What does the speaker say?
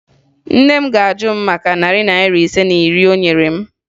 Nne m ga-ajụ m maka narị naịra ise na iri o nyere m